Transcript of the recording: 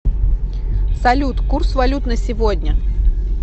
салют курс валют на сегодня